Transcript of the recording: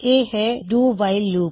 ਇਹ ਹੈ do while loop